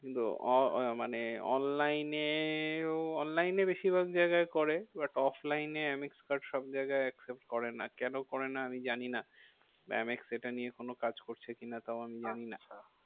কিন্তু মানে online এও online এ বেশিরভাগ জায়গায় করে but offline এ এম এক্স card সব জায়গায় accept করে না। কেন করে না আমি জানি না? এম এক্স এটা নিয়ে কোনো কাজ করছে কিনা তাও আমি জানি না।